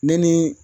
Ne ni